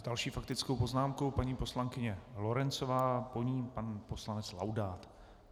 S další faktickou poznámkou paní poslankyně Lorencová, po ní pan poslanec Laudát.